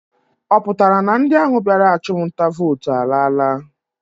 Ọ pụtara na ndị ahụ bịara achụmnta vootu alaala?